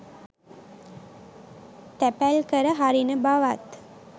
තැපැල්කර හරින බවත්